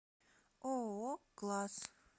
ооо класс